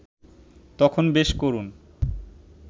তখন বেশ করুণ